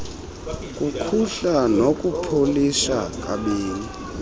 kukhuhla nokupolisha kabini